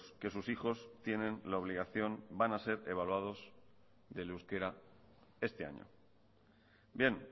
que sus hijos tienen la obligación van a ser evaluados del euskera este año bien